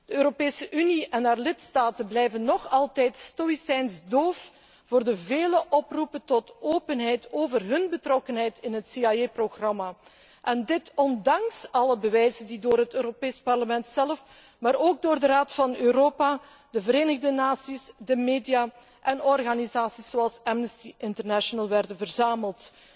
De Europese Unie en haar lidstaten blijven nog altijd Oost Indisch doof voor de vele oproepen tot openheid over hun betrokkenheid in het CIA programma, dit ondanks alle bewijzen die door het Europees Parlement zelf, maar ook door de Raad van Europa, de Verenigde Naties, de media en organisaties zoals Amnesty International werden verzameld.